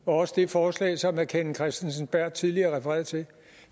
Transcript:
og også det forslag som herre kenneth kristensen berth tidligere refererede til